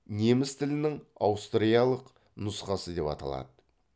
неміс тілінің аустриялық нұсқасы деп аталады